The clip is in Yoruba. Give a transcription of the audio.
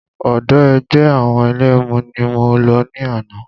Ọ̀dọ̀ ẹgbẹ́ àwọn ẹlẹ́mu ni mo lọ ní àná.